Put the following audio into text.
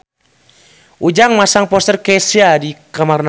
Ujang masang poster Kesha di kamarna